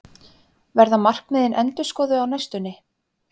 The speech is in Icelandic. Verða markmiðin endurskoðuð á næstunni?